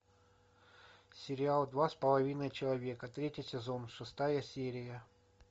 сериал два с половиной человека третий сезон шестая серия